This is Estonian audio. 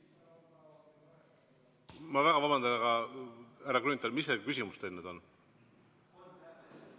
Ma väga vabandan, härra Grünthal, aga mis see küsimus teil nüüd on?